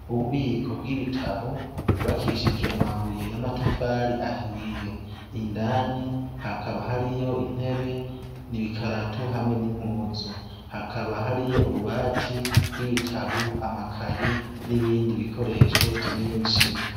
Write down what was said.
Ububiko bw'ibitabu gubakishijwe amabuye y'amatafari ahiye, indani hakaba hariyo intebe n'ibikaratu hamwe n'impuzu, hakaba hariyo ububati bw'ibitabu amakaye n'ibindi bikoresho vyinshi.